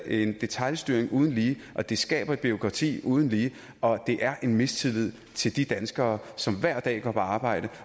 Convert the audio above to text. er en detailstyring uden lige og det skaber et bureaukrati uden lige og det er udtryk en mistillid til de danskere som hver dag går på arbejde